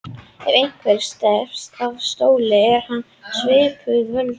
Ef einhverjum er steypt af stóli er hann sviptur völdum.